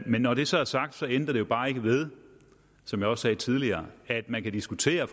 men når det så er sagt ændrer det jo bare ikke ved som jeg også sagde tidligere at man kan diskutere